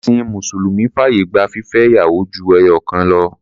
Ẹ̀̀sìn mùsùlùmí fàyè gba fífẹ́ ìyàwó ju ẹyọ̀kan lọ.